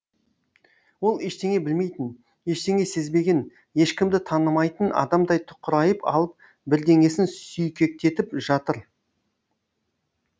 ол ештеңе білмейтін ештеңе сезбеген ешкімді танымайтын адамдай тұқырайып алып бірдеңесін сүйкектетіп жатыр